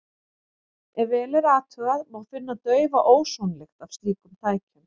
Ef vel er athugað, má finna daufa ósonlykt af slíkum tækjum.